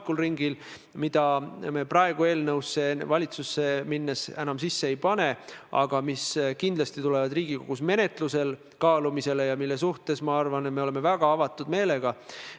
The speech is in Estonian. Kui mu mälu mind ei peta, siis Isamaaliit – keda te samuti koalitsioonipartnerina väga toetavalt kiitsite –, täpsemalt Helir-Valdor Seeder, võttis need pildid sealt 2007. aastal ära, tegutsedes väga põhimõttekindlalt.